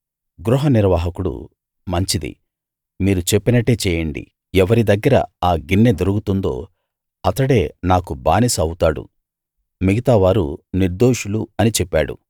గృహ నిర్వాహకుడు మంచిది మీరు చెప్పినట్టే చేయండి ఎవరి దగ్గర ఆ గిన్నె దొరుకుతుందో అతడే నాకు బానిస ఆవుతాడు మిగతా వారు నిర్దోషులు అని చెప్పాడు